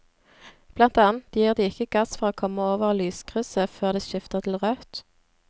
Blant annet gir de ikke gass for å komme over lyskrysset før det skifter til rødt.